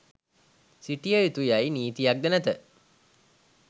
සිටය යුතු යයි නීතියක්ද නැත.